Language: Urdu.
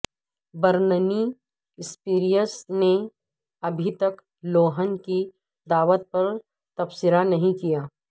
برننی سپیئرس نے ابھی تک لوہن کی دعوت پر تبصرہ نہیں کیا